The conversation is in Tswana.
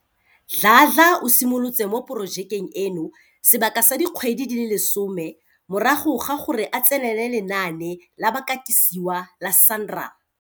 Dladla o simolotse mo porojekeng eno sebaka sa dikgwedi di le 10 morago ga gore a tsenele lenaane la bakatisiwa la SANRAL.